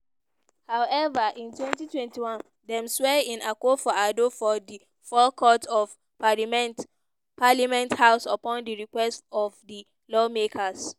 however in twenty twenty one dem swear in akufo-addo for di forecourt of parliament parliament house upon di request of di lawmakers.